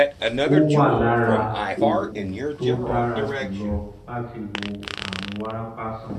ó wà lára àwọn oògùn tó dára jùlọ láti wo àrùn wárápá sàn